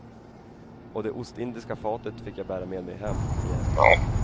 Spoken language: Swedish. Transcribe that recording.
Och det ostindiska fatet fick jag bära med mig hem igen.